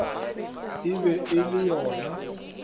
e be e le yona